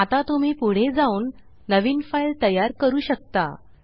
आता तुम्ही पुढे जाऊन नवीन फाइल तयार करू शकता